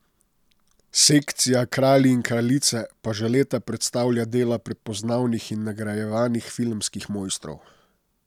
Sekcija Kralji in kraljice pa že leta predstavlja dela prepoznavnih in nagrajevanih filmskih mojstrov.